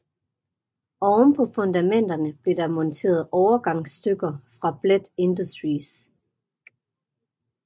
Oven på fundamenterne blev der monteret overgangsstykker fra Bladt Industries